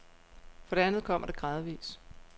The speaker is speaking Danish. For det andet kommer det gradvis.